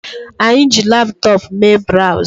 Anyi ji laptop Mee browz